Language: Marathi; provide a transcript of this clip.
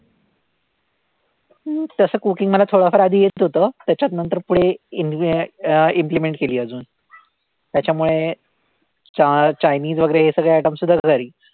अं तसं cooking मला थोडंफार आधी येतं होतं. त्याच्यात नंतर पुढे in the end अं implement केली अजून. त्याच्यामुळे चा Chinese वैगरे हे सगळे item सुद्धा घरी.